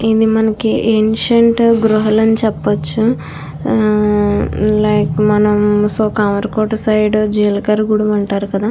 ఇది ఒక ఇన్స్టంట్ గ్రుహలు అని చేపవాచు. లైక్ మనం సొ కమరకోట సైడ్ జీలకర గూడం అంటారు కదా --